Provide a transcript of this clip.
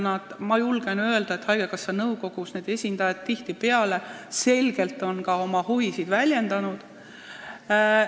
Ma julgen öelda, et haigekassa nõukogus on meditsiinitöötajate esindajad tihtipeale oma huvisid ka selgelt väljendanud.